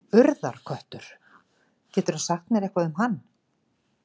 Urðarköttur, geturðu sagt mér eitthvað um hann?